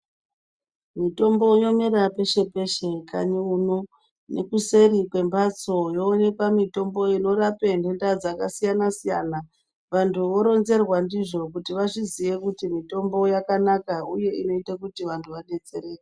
Mitombo yomerq peshe peshe mukanyi muno nekuseri kwembatso yoonekwa mitombo inorape nhenda dzakasiyana siyana vantu voronzerwa ndizvo kuti vazviziye kuti mitombo yakanaka uye inoita kuti vantu vadetsereke.